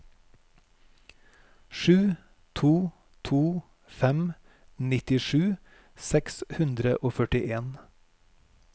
sju to to fem nittisju seks hundre og førtien